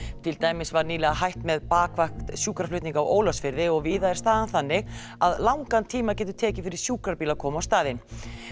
til dæmis var nýlega hætt með bakvakt sjúkraflutninga á Ólafsfirði og víða er staðan þannig að langan tíma getur tekið fyrir sjúkrabíl að koma á staðinn